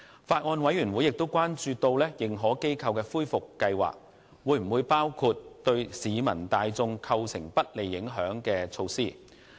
法案委員會亦關注到認可機構的恢復計劃會否包括對市民大眾構成不利影響的措施。